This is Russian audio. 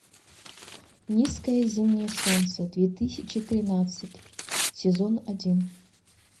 низкое зимнее солнце две тысячи тринадцать сезон один